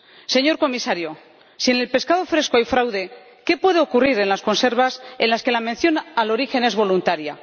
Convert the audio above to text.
Señor Comisario, si en el pescado fresco hay fraude, ¿qué puede ocurrir en las conservas, en las que la mención del origen es voluntaria?